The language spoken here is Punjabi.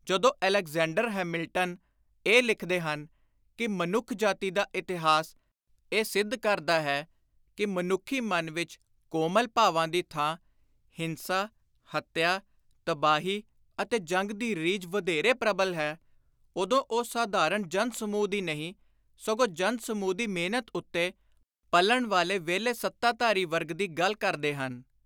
ਜਦੋਂ ਅਲੈਗਜ਼ੈਂਡਰ ਹੈਮਿਲਟਨ ਇਹ ਲਿਖਦੇ ਹਨ ਕਿ “ਮਨੁੱਖ ਜਾਤੀ ਦਾ ਇਤਿਹਾਸ ਇਹ ਸਿੱਧ ਕਰਦਾ ਹੈ ਕਿ ਮਨੁੱਖੀ ਮਨ ਵਿਚ ਕੋਮਲ ਭਾਵਾਂ ਦੀ ਥਾਂ ਹਿੰਸਾ, ਹੱਤਿਆ, ਤਬਾਹੀ ਅਤੇ ਜੰਗ ਦੀ ਰੀਝ ਵਧੇਰੇ ਪ੍ਰਬਲ ਹੈ”, ਉਦੋਂ ਉਹ ਸਾਧਾਰਣ ਜਨ-ਸਮੂਹ ਦੀ ਨਹੀਂ, ਸਗੋਂ ਜਨ-ਸਮੂਹ ਦੀ ਮਿਹਨਤ ਉੱਤੇ ਪਲਣ ਵਾਲੇ ਵਿਹਲੇ ਸੱਤਾਧਾਰੀ ਵਰਗ ਦੀ ਗੱਲ ਕਰਦੇ ਹਨ।